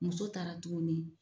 Muso taara tuguni